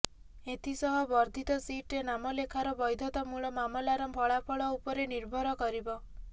ଏଥିସହ ବର୍ଦ୍ଧିତ ସିଟରେ ନାମଲେଖାର ବୈଧତା ମୂଳ ମାମଲାର ଫଳାଫଳ ଉପରେ ନିର୍ଭର କରିବ